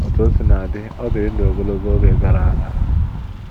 Otú o sina dị, ọ dị ndụ ogologo oge gara aga.